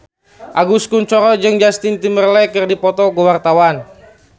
Agus Kuncoro jeung Justin Timberlake keur dipoto ku wartawan